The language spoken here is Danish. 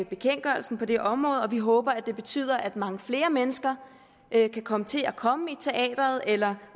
bekendtgørelsen på det område og vi håber at det betyder at mange flere mennesker kan komme til at komme i teatret eller